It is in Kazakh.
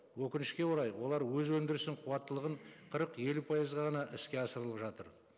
өкінішке орай олар өз өндірісінің қуаттылығын қырық елу пайызға ғана іске асырылып жатыр